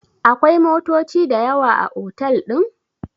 akwai motoci da yawa a otal din?